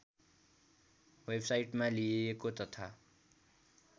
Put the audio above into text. वेबसाइटबाट लिइएको तथा